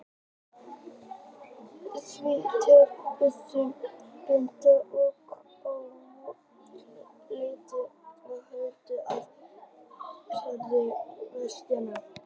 Því til stuðnings benti hann á heilleika bergsins og segulmögnun líparíts og bergganga í Vatnsdalshólum.